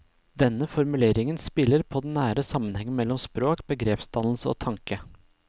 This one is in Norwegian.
Denne formuleringen spiller på den nære sammenhengen mellom språk, begrepsdannelse og tanke.